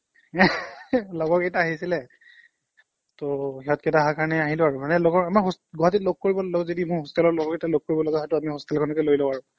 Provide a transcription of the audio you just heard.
লগৰকিটা আহিছিলে ত' সিহঁতকিটা আহা কাৰণে আহিলোঁ আৰু মানে লগৰ আমাৰ গুৱাহাটীত লগ কৰিব যদি লওঁ যদি hostel ৰ লগৰকিটা লগ কৰিব লগা হয় ত' আমি hostel খনকে লৈ লওঁ আৰু